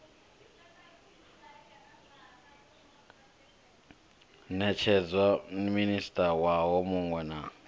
netshedzwa minista nwaha munwe na